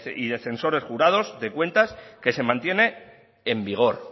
y de censores jurados de cuentas que se mantiene en vigor